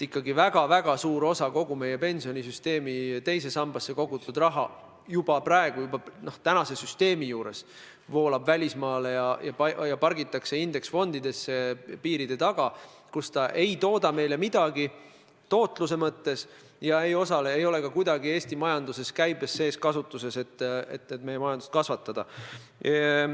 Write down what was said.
Ikkagi väga suur osa kogu meie pensionisüsteemi teise sambasse kogutud raha voolab juba praegu välismaale ja pargitakse piiritagustesse indeksfondidesse, kus see ei tooda meile midagi ega osale ka kuidagi Eesti majanduses, et meie majandust kasvatada.